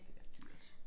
Det også dyrt